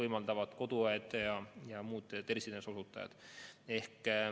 Neid süste teevad koduõed ja muud tervishoiuteenuse osutajad.